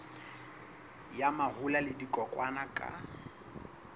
ya mahola le dikokwanyana ka